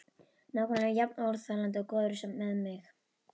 Nákvæmlega jafn óþolandi og góður með sig.